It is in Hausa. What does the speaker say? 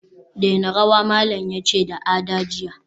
daina rawa, malam yace da Ada jiya